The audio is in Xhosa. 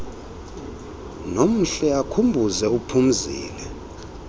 nomhle akhumbuze uphumzile